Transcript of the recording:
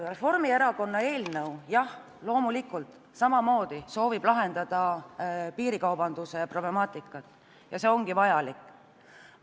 Reformierakonna eelnõu loomulikult samamoodi soovib lahendada piirikaubanduse problemaatikat ja see ongi vajalik.